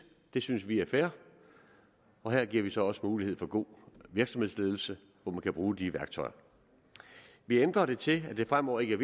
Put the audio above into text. det synes vi er fair og her giver vi så også mulighed for god virksomhedsledelse hvor man kan bruge de værktøjer vi ændrer det til at det fremover ikke er